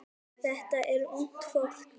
Þetta er ungt fólk.